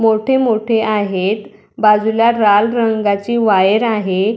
मोठे मोठे आहेत बाजूला लाल रंगाची वायर आहे.